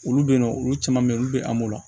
Olu bɛ yen nɔ olu caman bɛ yen olu bɛ an m'o la